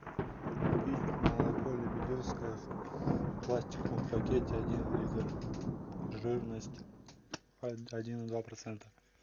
купить молоко лебедевское в пластиковом пакете один литр жирность один и два процента